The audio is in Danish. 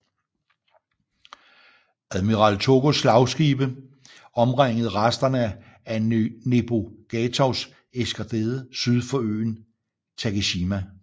Admiral Tōgōs slagskibe omringede resterne af Nebogatovs eskadre syd for øen Takeshima